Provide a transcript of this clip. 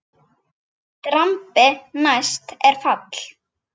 Drambi næst er fall.